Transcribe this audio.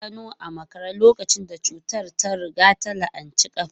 Ya gano a makare lokacin da cutar ta riga ta la'anci kafa.